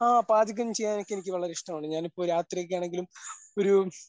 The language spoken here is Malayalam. ആ പാചകം ചെയ്യാൻ എനിക്ക് എനിക്ക് വളരെ ഇഷ്ടമാണ് ഞാനിപ്പൊ രാത്രിയൊക്കെ ആണെങ്കിലും ഒരു